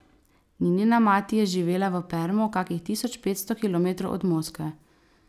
Ninina mati je živela v Permu, kakih tisoč petsto kilometrov od Moskve.